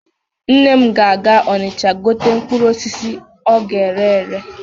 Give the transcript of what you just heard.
Nne m ga-aga Ọnịcha igote mkpụrụ osisi ọ ga-ere ere.